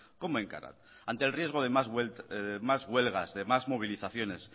como encaran ante el riesgo de más huelgas de más movilizaciones